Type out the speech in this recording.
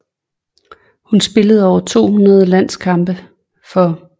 Hun spillede over 200 landskampe for